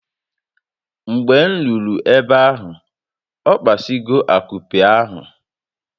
Mgbe m ruru ebe ahu, okpasigo akupe ahụ